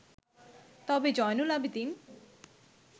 তবে জয়নুল আবেদিন